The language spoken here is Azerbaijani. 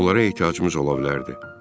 Onlara ehtiyacımız ola bilərdi.